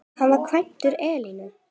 Hann var kvæntur Elínu